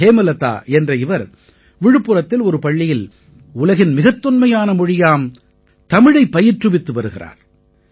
ஹேமலதா என்ற இவர் விழுப்புரத்தில் ஒரு பள்ளியில் உலகின் மிகத் தொன்மையான மொழியாம் தமிழைப் பயிற்றுவித்து வருகிறார்